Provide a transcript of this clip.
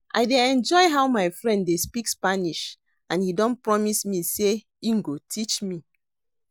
I dey enjoy how my friend dey speak spanish and he don promise me say he go teach me